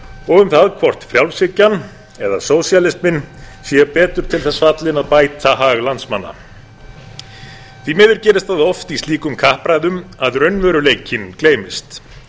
og um það hvort frjálshyggjan eða sósíalisminn er betur til þess fallin að bæta hag landsmanna því miður gerist það oft í slíkum kappræðum að raunveruleikinn gleymist